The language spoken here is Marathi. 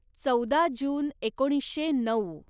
चौदा जुन एकोणीसशे नऊ